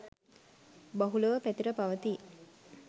බහුලව පැතිර පවතී